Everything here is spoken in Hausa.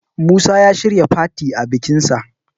Musa ya shirya fati a bikinsa